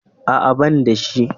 A'a, ban da shi.